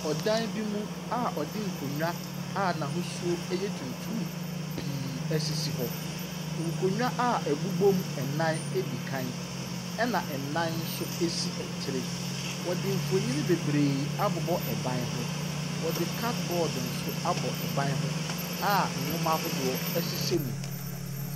Ɔdan bi mu a wɔde nkonnwa a n'ahosuo ɛyɛ tuntum pii ɛsisi hɔ. Nkonnwa a ɛbobɔ mu nnan edikan ɛna nnan nso esi akyiri. Wɔde nfonni bebree abobɔ ɛban ho. Wɔde cardboard nso abɔ ɛban ho a nnwoma ahodoɔ ɛhyehyɛ mu.